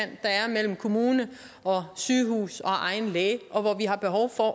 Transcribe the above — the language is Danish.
mellem kommune sygehus og egen læge og hvor vi har behov for